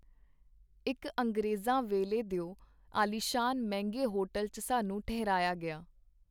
ਇੱਕ ਅੰਗਰੇਜ਼ਾਂ ਵੇਲੇ ਦਿਓ ਆਲੀਸ਼ਾਨ ਮਹਿੰਗੇ ਹੋਟਲ ਚ ਸਾਨੂੰ ਠਹਿਰਾਇਆ ਗਿਆ.